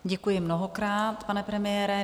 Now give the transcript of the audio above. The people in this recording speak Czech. Děkuji mnohokrát, pane premiére.